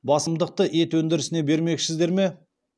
басымдықты ет өндірісіне бермекшісіздер ме